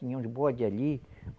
Tinha uns bode ali.